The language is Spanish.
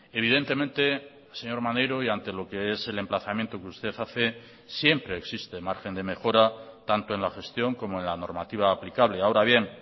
evidentemente señor maneiro y ante lo que es el emplazamiento que usted hace siempre existe margen de mejora tanto en la gestión como en la normativa aplicable ahora bien